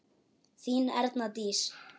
Þín Erna Dís.